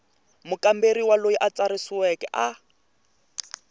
mukamberi loyi a tsarisiweke a